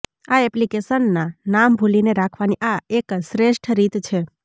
આ એપ્લિકેશનના નામ ભૂલીને રાખવાની આ એક શ્રેષ્ઠ રીત છે